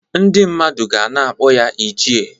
Ndị mmadụ ga na-akpọ ya "ichie"